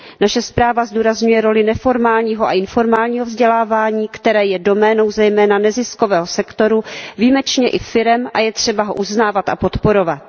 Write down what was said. Naše zpráva zdůrazňuje roli neformálního a informálního vzdělávání, které je doménou zejména neziskového sektoru, výjimečně i firem a je třeba ho uznávat a podporovat.